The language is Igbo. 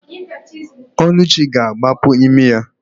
Ọlụchi ga-agbapu imi ya.